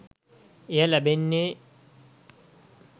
එය ලැබෙන්නෙ